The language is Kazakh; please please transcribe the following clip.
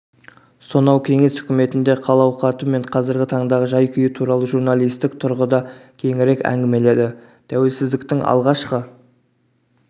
сонау кеңес үкіметіндегі хал-ауқаты мен қазіргі таңдағы жай-күйі туралы журналистік тұрғыда кеңірек әңгімеледі тәуелсіздіктің алғашқы